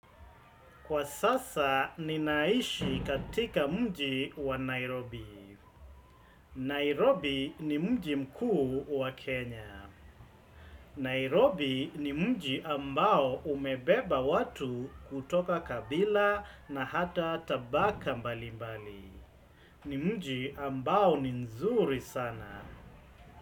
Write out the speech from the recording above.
Kwa sasa ninaishi katika mji wa Nairobi. Nairobi ni mji mkuu wa Kenya. Nairobi ni mji ambao umebeba watu kutoka kabila na hata tabaka mbali mbali. Ni mji ambao ni mzuri sana.